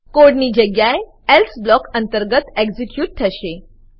code ની જગ્યાએ else block અંતર્ગત એક્ઝીક્યુટ થશે